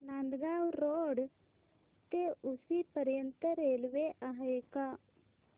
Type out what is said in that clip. Nandgaon road ते उक्षी पर्यंत railway आहे का